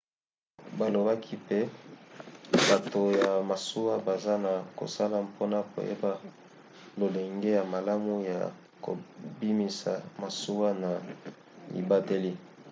balobaki pe boye bato ya masuwa baza na kosala mpona koyeba lolenge ya malamu ya kobimisa masuwa na libateli